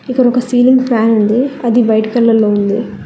ఇక్కడొక ceiling fan ఉంది అది వైట్ కలర్ లో ఉంది.